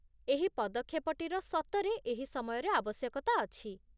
ଏହି ପଦକ୍ଷେପଟିର ସତରେ ଏହି ସମୟରେ ଆବଶ୍ୟକତା ଅଛି ।